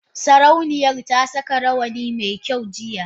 Sarauniyar ta saka rawani mai kyau jiya.